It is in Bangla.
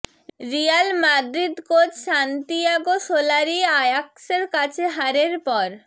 Real Madrid coach Santiago Solari আয়াক্সের কাছে হারের পর